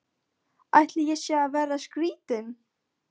Ætli ég sé að verða skrýtin.